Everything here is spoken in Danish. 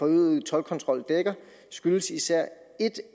øgede toldkontrol dækker skyldes især et